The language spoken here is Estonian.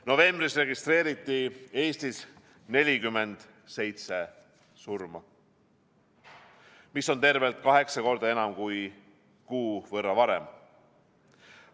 Novembris registreeriti Eestis 47 surma, mis on tervelt kaheksa korda enam kui kuu võrra varem.